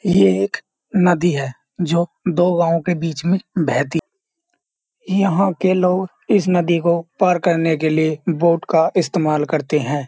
ये एक नदी है जो दो गांव के बीच में बहती है यहां के लोग इस नदी को पार करने के लिए बोट का इस्तेमाल करते हैं।